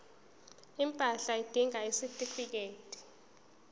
impahla udinga isitifikedi